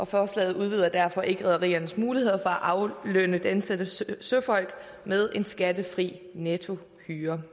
forslaget udvider derfor ikke rederiernes muligheder for at aflønne de ansatte søfolk med en skattefri nettohyre